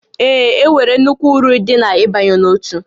Ee, e nwere nnukwu uru dị n'ịbanye n'òtù